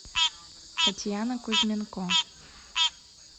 татьяна кузьменко